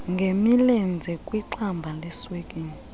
ngemilenze kwixamba leswekile